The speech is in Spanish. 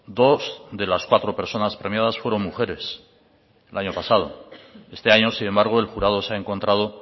dos de las cuatro personas premiadas fueron mujeres el año pasado este año sin embargo el jurado se ha encontrado